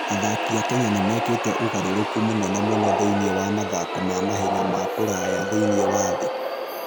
Athaki a Kenya nĩ mekĩte ũgarũrũku mũnene mũno thĩinĩ wa mathako ma mahenya ma kũraya thĩinĩ wa thĩ.